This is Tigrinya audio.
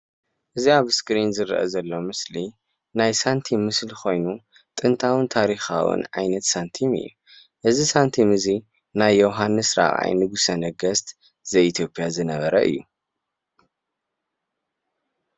እዚ ኣብ እስክሪን ዝርአ ዘሎ ምስሊ ናይ ሳንቲም ምስሊ ኮይኑ ጥንታዉን ታሪካዉን ዓይነት ሳንቲም እዩ። እዚ ሳንቲም እዚ ናይ ዮዉሃንስ ራብዓይ ንጉሰ ነገስት ዘኢትዮጵያ ዝነበረ እዩ።